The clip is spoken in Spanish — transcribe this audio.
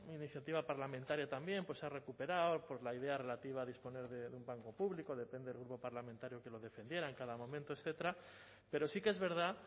iniciativa parlamentaria también pues se ha recuperado la idea relativa a disponer de un banco público depende el grupo parlamentario que lo defendiera en cada momento etcétera pero sí que es verdad